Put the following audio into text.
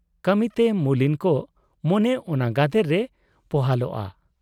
ᱠᱟᱹᱢᱤ ᱛᱮ ᱢᱩᱞᱤᱱ ᱠᱚᱜ ᱢᱚᱱᱮ ᱚᱱᱟ ᱜᱟᱫᱮᱞ ᱨᱮ ᱯᱚᱦᱟᱞᱚᱜᱼᱟ ᱾